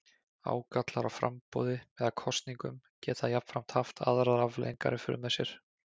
Ágallar á framboði eða kosningum geta jafnframt haft aðrar afleiðingar í för með sér.